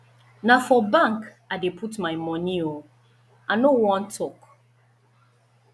na for bank i dey put my money oo i no wan talk